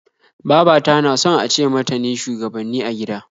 Baba ta na son a ce mata ne shugabanni a gida